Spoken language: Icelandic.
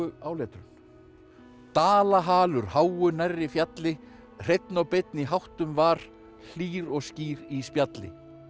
áletrun háu nærri fjalli hreinn og beinn í háttum var hlýr og skýr í spjalli